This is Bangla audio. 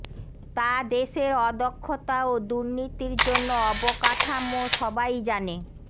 তা দেশের অদক্ষতা ও দুর্নীতির জন্য অবকাঠামো সবাই জানে